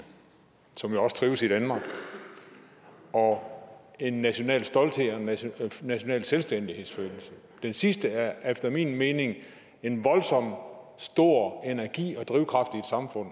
som jo også trives i danmark og en national stolthed og en national national selvstændighedsfølelse den sidste giver efter min mening en voldsom stor energi og drivkraft i et samfund